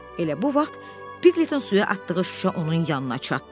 Elə bu vaxt Piqletin suya atdığı şüşə onun yanına çatdı.